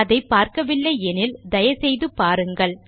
அதை பார்க்கவில்லை எனில் தயை செய்து பாருங்கள்